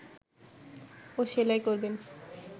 ও সেলাই করবেন